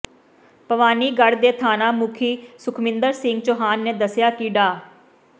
ਭਵਾਨੀਗੜ੍ਹ ਦੇ ਥਾਣਾ ਮੁਖੀ ਸੁਖਮਿੰਦਰ ਸਿੰਘ ਚੌਹਾਨ ਨੇ ਦੱਸਿਆ ਕਿ ਡਾ